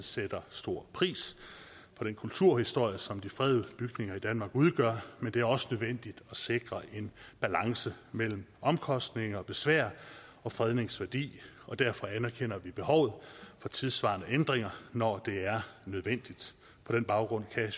sætter stor pris på den kulturhistorie som de fredede bygninger i danmark udgør men det er også nødvendigt at sikre en balance mellem omkostninger besvær og fredningsværdi og derfor anerkender vi behovet for tidssvarende ændringer når det er nødvendigt på den baggrund kan